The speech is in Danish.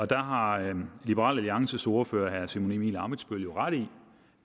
der har liberal alliances ordfører herre simon emil ammitzbøll jo ret i